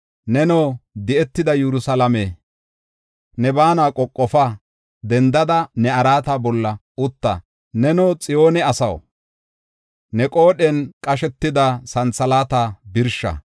Neno, di7etida Yerusalaame, ne baana qoqofa; dendada ne araata bolla utta. Neno Xiyoone asaw, ne qoodhen qashetida santhalaata birsha.